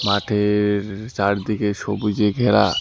মাঠের চারদিকে সবুজে ঘেরা।